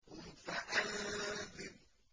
قُمْ فَأَنذِرْ